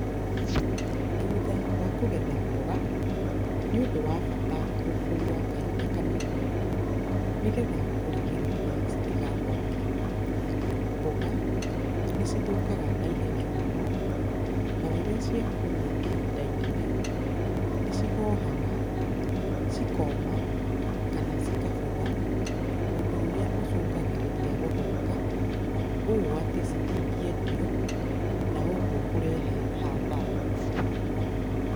Thutha wa kũgetha mboga, nĩ ũndũ wa bata gũkua kahinda kanini nĩgetha kũrigĩrĩria citigathũke. Mboga nĩcithũkaga naihenya mũno, na rĩrĩa ciakuo ihinda inene nĩ cihohaga, cikoma kana cikabutha, ũndũ ũrĩa ũcũngagĩrĩria gũthũka ũũ atĩ citingĩendio, na ũguo kũrehe hathara.